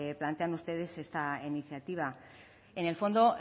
plantean ustedes esta iniciativa en el fondo